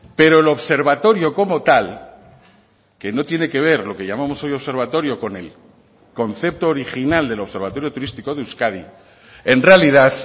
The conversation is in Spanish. pero el observatorio como tal que no tiene que ver lo que llamamos hoy observatorio con el concepto original del observatorio turístico de euskadi en realidad